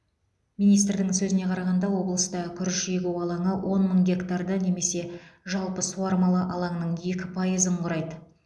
министрдің сөзіне қарағанда облыста күріш егу алаңы он мың гектарды немесе жалпы суармалы алаңның екі пайызын құрайды